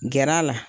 Gɛr'a la